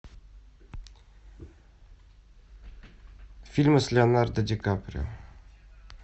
фильмы с леонардо ди каприо